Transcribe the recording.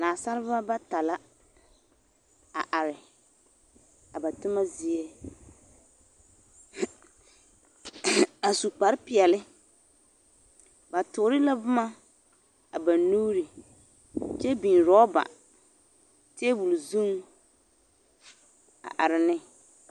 Nasaalba bata la a are a ba toma zie a su kpare peɛle, ba toore la boma a ba nuuri kyɛ biŋ roba teebol zuŋ a are ne.